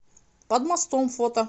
под мостом фото